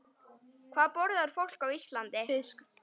Hvað borðar fólk á Íslandi?